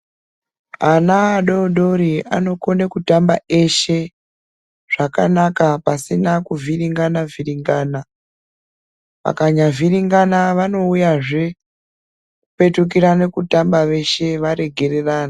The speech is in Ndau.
Ana adori dori, anokone kutamba eshe zvakanaka pasina kuvhiringana vhiringana, vakanya vhiringana vanowuya zvepetukirane kutamba veshe varegererana.